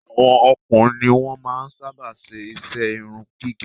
Àwọn ọkùnrin ní wọn máa ń sábà ṣe iṣẹ́ irun gígẹ̀